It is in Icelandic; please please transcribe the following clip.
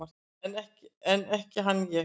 En ekki hann ég!